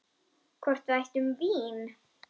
Hvort við ættum vín?